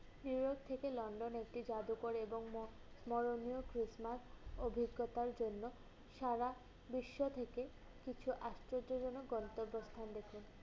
New York থেকে London একটি জাদুঘরে এবং স্মরণীয় Christmas অভিজ্ঞতার জন্য সারা বিশ্ব থেকে কিছু আশ্চর্যজনক গন্তব্যস্থান দেখুন।